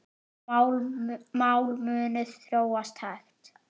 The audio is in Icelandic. Mál munu þróast hægt.